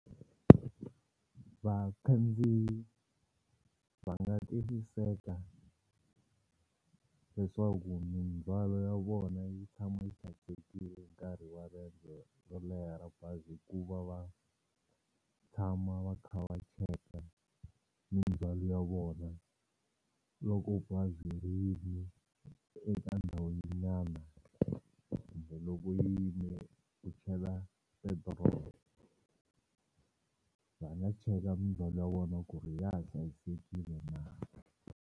Vakhandziyi va nga tiyisiseka leswaku mindzhwalo ya vona yi tshama yi hlayisekile nkarhi wa riendzo ro leha ra bazi hi ku va va tshama va kha va cheka mindzwalo ya vona loko bazi ri yime eka ndhawu nyana kumbe loko yi yimele ku chela petrol va nga cheka mindzwalo ya vona ku ri ya ha hlayisekile na.